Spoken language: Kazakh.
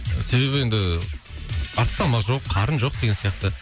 себебі енді артық салмақ жоқ қарын жоқ деген сияқты